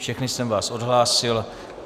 Všechny jsem vás odhlásil.